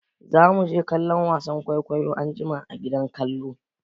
Zamu je kallon wasan kwaikwayon anjima a gidan kallo.